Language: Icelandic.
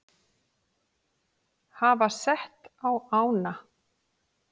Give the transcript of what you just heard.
hafa sett á ána.